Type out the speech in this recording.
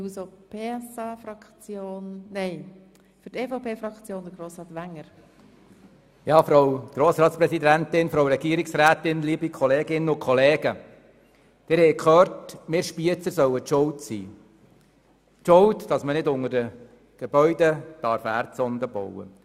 Wie Sie gehört haben, sollen wir Spiezer schuld sein – schuld daran sein, dass man keine Erdsonden unter den Gebäuden verlegen kann.